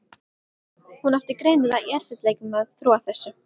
Hún átti greinilega í erfiðleikum með að trúa þessu.